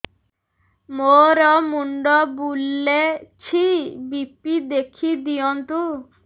ମୋର ମୁଣ୍ଡ ବୁଲେଛି ବି.ପି ଦେଖି ଦିଅନ୍ତୁ